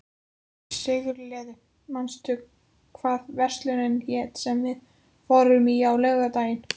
Sigurliði, manstu hvað verslunin hét sem við fórum í á laugardaginn?